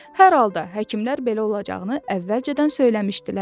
Hər halda həkimlər belə olacağını əvvəlcədən söyləmişdilər.